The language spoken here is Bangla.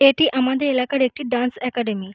এটি আমাদের এলাকার একটি ডান্স একাডেমী ।